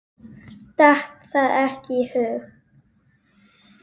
Datt það ekki í hug.